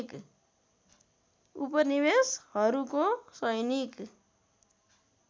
उपनिवेसहरूको सैनिक